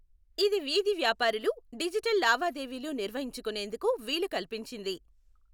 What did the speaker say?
ఇది వీధి వ్యాపారులు డిజిటల్ లావాదేవీలు నిర్వహించుకునేందుకు వీలు కల్పించింది.